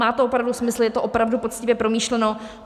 Má to opravdu smysl, je to opravdu poctivě promyšleno.